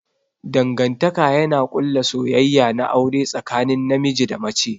Dangantaka yana ƙulla soyayya na aure tsakanin namiji da mace.